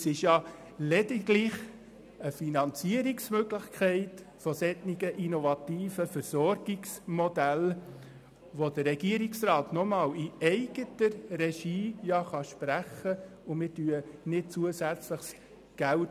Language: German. Zudem ist es lediglich eine Finanzierungsmöglichkeit für solche innovative Versorgungsmodelle, die der Regierungsrat in eigener Regie sprechen kann, aber wir sprechen kein zusätzliches Geld.